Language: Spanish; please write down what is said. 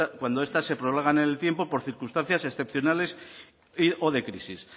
cuando estas se prorrogan en el tiempo por circunstancias excepcionales y o de crisis